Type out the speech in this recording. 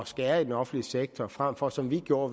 skære i den offentlige sektor frem for som vi gjorde